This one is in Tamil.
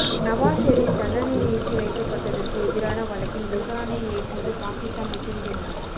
நவாஸ் ஷெரீப் தண்டனை நிறுத்திவைக்கப்பட்டதற்கு எதிரான வழக்கின் விசாரணையை ஏற்றது பாகிஸ்தான் உச்சநீதிமன்றம்